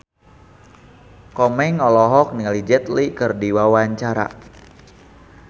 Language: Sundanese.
Komeng olohok ningali Jet Li keur diwawancara